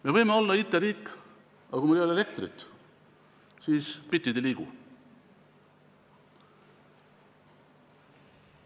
Me võime olla IT-riik, aga kui meil ei ole elektrit, siis bitid ei liigu.